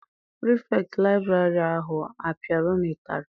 Pirifetktị liburary ahụ a piara unu ụtarị?